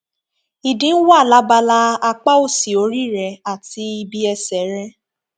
ìdin wà lábala apáòsì orí rẹ àti ibi ẹsẹ rẹ